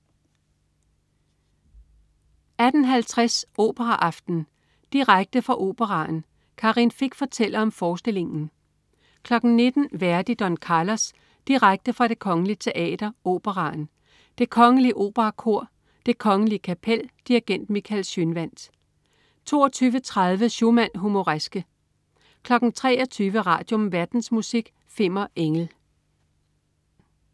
18.50 Operaaften. Direkte fra Operaen. Karin Fich fortæller om forestillingen 19.00 Verdi: Don Carlos. Direkte fra Det Kgl. Teater, Operaen. Det Kgl Operakor. Det Kgl. Kapel. Dirigent: Michael Schønwandt 22.30 Schumann: Humoreske 23.00 Radium. Verdensmusik. Fimmer Engel